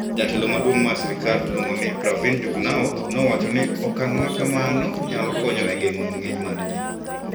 Jatelo maduong ' mar sirkal miluongo ni Pravind Jugnauth nowacho ni okang' ma kamano nyalo konyo e geng'o ng`eny mar ji.